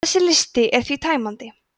þessi listi er því tæmandi